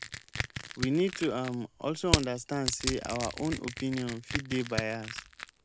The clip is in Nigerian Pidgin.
we need to um also understand sey our own opinion fit dey biased um